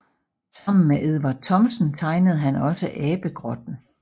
Sammen med Edvard Thomsen tegnede han også Abegrotten